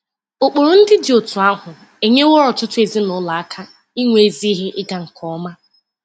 Ụkpụrụ ndị dị otú ahụ enyeworo ọtụtụ ezinụlọ aka inwe ezi ihe ịga nke ọma.